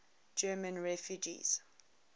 german refugees